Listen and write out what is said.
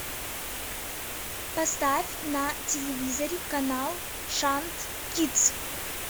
поставь на телевизоре канал шант кидс